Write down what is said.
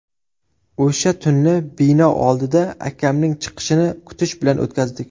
O‘sha tunni bino oldida akamning chiqishini kutish bilan o‘tkazdik.